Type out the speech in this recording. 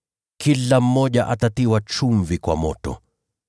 Kila mmoja atatiwa chumvi kwa moto.